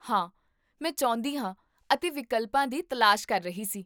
ਹਾਂ, ਮੈਂ ਚਾਹੁੰਦੀ ਹਾਂ ਅਤੇ ਵਿਕਲਪਾਂ ਦੀ ਤਲਾਸ਼ ਕਰ ਰਹੀ ਸੀ